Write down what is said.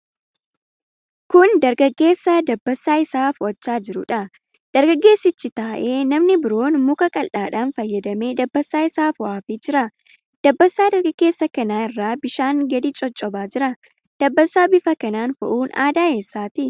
Kun dargaggeessa dabbasaa isaa fo'achaa jiruudha. Dargaggeessichi taa'ee, namni biroon muka qal'aadhaan fayyadamee dabbasaa isaa fo'aafii jira. Dabbasaa dargaggeessa kanaa irraa bishaanni gadi coccobaa jira. Dabbasaa bifa kanaan fo'uun aadaa eessaati?